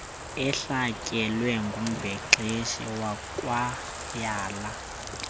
ehlatyelwe ngumbhexeshi wekwayala